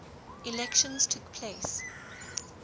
elections took place